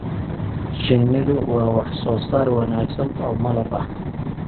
Shinnidu waa wax soo saar wanaagsan oo malab ah.